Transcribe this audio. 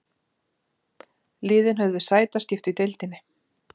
Liðin höfðu sætaskipti í deildinni